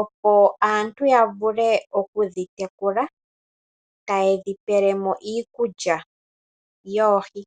opo aantu ya vule okudhi tekula taye dhi pele mo iikulya yoohi.